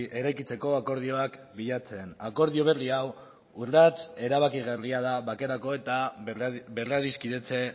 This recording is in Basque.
eraikitzeko akordioak bilatzen akordio berri hau urrats erabakigarria da bakerako eta berradiskidetze